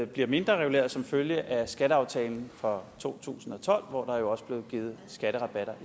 bliver mindrereguleret som følge af skatteaftalen fra to tusind og tolv hvor der jo også blev givet skatterabatter